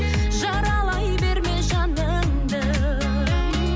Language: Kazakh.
жаралай берме жаныңды